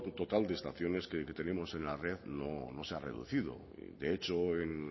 total de estaciones que tenemos en la red no se ha reducido de hecho en